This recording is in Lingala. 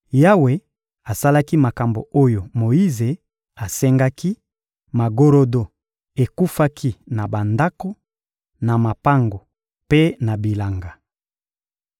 Yawe asalaki makambo oyo Moyize asengaki: magorodo ekufaki na bandako, na mapango mpe na bilanga.